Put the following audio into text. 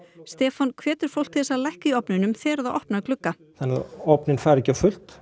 Stefán hvetur fólk til þess að lækka í ofninum þegar það opnar glugga þannig að ofninn fari ekki á fullt